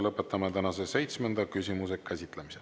Lõpetame tänase seitsmenda küsimuse käsitlemise.